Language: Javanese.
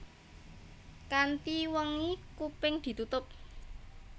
Kanthi wengi kuping ditutup